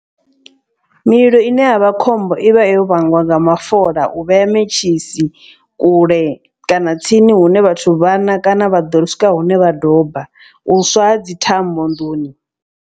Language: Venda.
Mililo ine ya vha khombo i vha yo vhangwa nga mafola u vhea mentshisi kule kana tsini hune vhathu vhana kana vha ḓo swika hune vha doba u swa ha dzi thambo nḓuni.